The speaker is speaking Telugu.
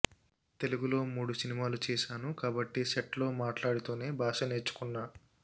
తెలుగులో మూడు సినిమాలు చేశాను కాబట్టి సెట్స్లో మాట్లాడుతూనే భాష నేర్చుకున్నా